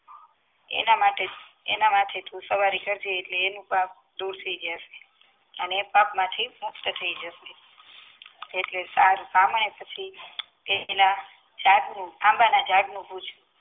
એના માટે એના માથે તું સવારે કરજે એટલે એનું પાપ દુર થઈ જસે અને એ પાપમાંથી મુક્ત થઈ જશે એટલે સારું પ્રમાણે પછી એના આંબા ના ઝાડ નું